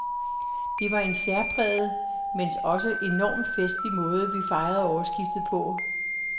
Det var en særpræget, mens også enormt festlig måde, vi fejrede årsskiftet på.